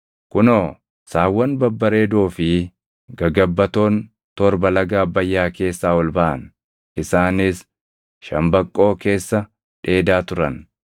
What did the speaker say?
Kunoo, saawwan babbareedoo fi gagabbatoon torba laga Abbayyaa keessaa ol baʼan; isaanis shambaqqoo keessa dheedaa turan.